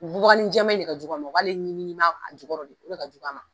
Bubaganin jɛma in de ka jugu ma o b'ale ɲimiɲimi a jukɔrɔ de o de ka jugu a ma.